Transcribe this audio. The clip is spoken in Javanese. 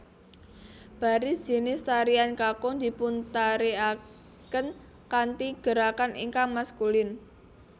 Baris jinis tarian kakung dipuntarikaken kanthi gerakan ingkang maskulin